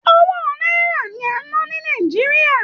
Owó náírà ni a n nà ni Nàìjíríà.